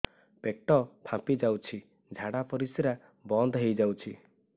ପେଟ ଫାମ୍ପି ଯାଉଛି ଝାଡା ପରିଶ୍ରା ବନ୍ଦ ହେଇ ଯାଉଛି